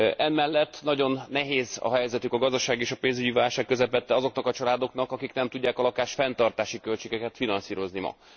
Emellett nagyon nehéz a helyzetük a gazdasági és a pénzügyi válság közepette azoknak a családoknak, amelyek nem tudják a lakásfenntartási költségeket finanszírozni ma.